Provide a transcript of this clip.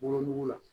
Wolonugu la